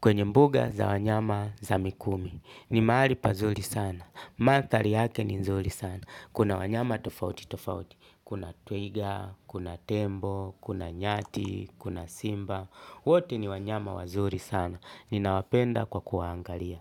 Kwenye mbuga za wanyama za mikumi. Ni mahali pazuri sana. Manthari yake ni nzuri sana. Kuna wanyama tofauti tofauti. Kuna twiga, kuna tembo, kuna nyati, kuna simba. Wote ni wanyama wazuri sana. Ninawapenda kwa kuwaangalia.